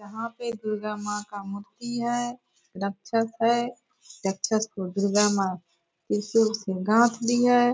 यहाँ पे दुर्गा माँ का मूर्ति है। राक्षश है। राक्षश को दुर्गा माँ त्रिशूल से गाथ दी है।